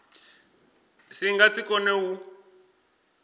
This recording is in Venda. si nga si kone u